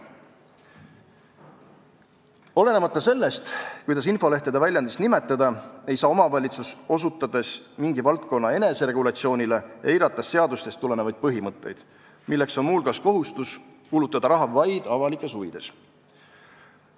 Olenemata sellest, kuidas infolehtede väljaandmist nimetada, ei saa omavalitsus, osutades mingi valdkonna eneseregulatsioonile, eirata seadustest tulenevaid põhimõtteid, milleks on muu hulgas kohustus kulutada raha vaid avalikes huvides.